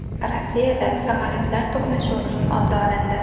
Rossiyada samolyotlar to‘qnashuvining oldi olindi.